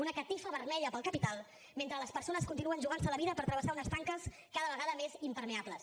una catifa vermella per al capital mentre les persones continuen jugant se la vida per travessar unes tanques cada vegada més impermeables